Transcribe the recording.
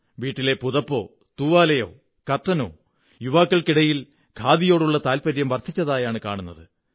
വീട്ടിലെ പുതപ്പോ തൂവാലയോ കര്ട്ടഖനോ യുവാക്കള്ക്കി ടയിൽ ഖാദിയോടുള്ള താത്പര്യം വര്ധിരച്ചതായാണു കാണുന്നത്